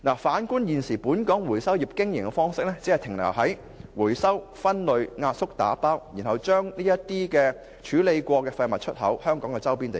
反觀現時本港回收業經營方式，其實仍只停留於回收、分類、壓縮和打包，然後將已處理的廢物出口至香港周邊地區。